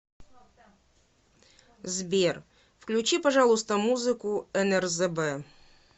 сбер включи пожалуйста музыку нрзб